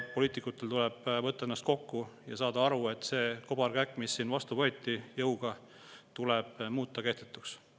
Poliitikutel tuleb ennast kokku võtta ja saada aru, et see kobarkäkk, mis siin jõuga vastu võeti, tuleb muuta kehtetuks.